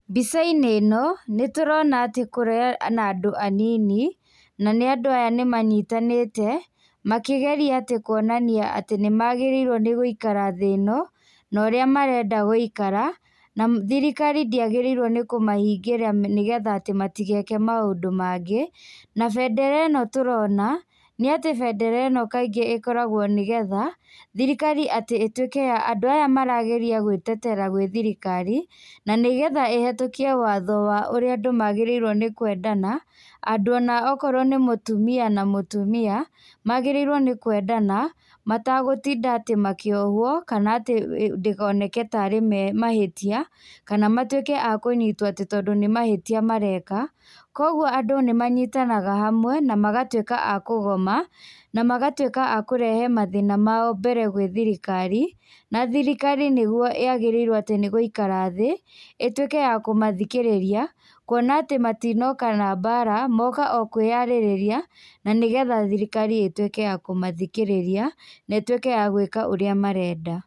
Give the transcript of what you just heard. Mbica-inĩ ĩno, nĩ tũrona atĩ kũrĩ na andũ anini, na nĩ andũ aya nĩ manyitanĩte, makĩgeria atĩ kuonania atĩ nĩ magĩrĩirwo nĩ gũikara thĩ ĩno, na ũrĩa marenda gũikara, na thirikari ndĩagĩrĩirwo nĩ kũmahingĩra nĩ getha atĩ matigeke maũndũ mangĩ, na bendera ĩno tũrona, nĩ atĩ bendera ĩno kaingĩ ĩkoragwo nĩ getha, thirikari atĩ ĩtuĩke ya andũ aya marageria gwĩtetera gwĩ thirikari, na nĩ getha ĩhetũkie watho wa ũrĩa andũ magĩrĩirwo nĩ kwendana, andũ ona okorwo nĩ mũtumia na mũtumia, magĩrĩirwo nĩ kwendana, matagũtinda atĩ makĩohwo kana atĩ ndĩkoneke tarĩ mahĩtia kana matuĩke a kũnyitwo atĩ tondũ nĩ mahĩtia mareka, kũguo andũ nĩ manyitanaga hamwe na magatuĩka a kũgoma, na magatuĩka a kũrehe mathĩna mao mbere gwĩ thirikari, na thirikari nĩguo yagĩrĩirwo atĩ nĩ gũikara thĩ, ĩtuĩke ya kũmathikĩrĩria, kuona atĩ matinoka na mbaara, moka o kwĩyarĩrĩria, na nĩ getha thirikari ĩtuĩke ya kũmathikĩrĩria na ĩtuĩke ya gwĩka ũrĩa marenda.